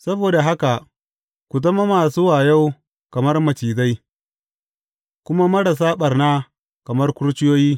Saboda haka ku zama masu wayo kamar macizai, kuma marasa ɓarna kamar kurciyoyi.